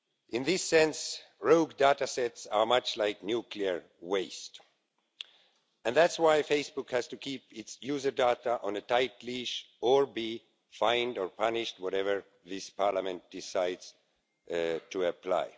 In this sense, rogue data sets are much like nuclear waste, and that's why Facebook has to keep its user data on a tight leash or be fined or punished, whatever this Parliament decides to apply.